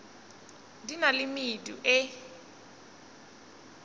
di na le medu e